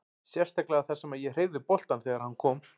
Sérstaklega þar sem að ég hreyfði boltann þegar að hann kom.